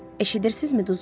Eşidirsizmi, duzlu su?